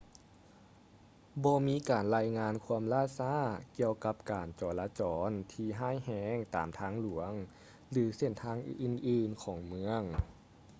ບໍ່ມີການລາຍງານຄວາມລ່າຊ້າກ່ຽວກັບການຈໍລະຈອນທີ່ຮ້າຍແຮງຕາມທາງຫຼວງ ຫຼື ເສັ້ນທາງອື່ນໆຂອງເມືອງ